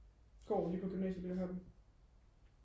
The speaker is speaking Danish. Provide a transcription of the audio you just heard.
går lige på gymnasiet lige heroppe